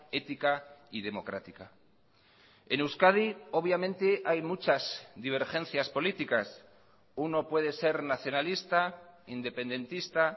ética y democrática en euskadi obviamente hay muchas divergencias políticas uno puede ser nacionalista independentista